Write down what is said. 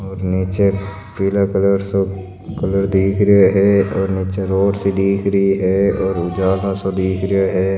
और निचे पीला कलर सो कलर दिख रो है और निचे रोड सी दिख रही है और उजाला सा दिख रो है।